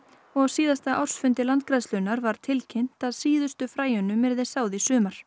og á síðasta ársfundi Landgræðslunnar var tilkynnt að síðustu fræjunum yrði sáð í sumar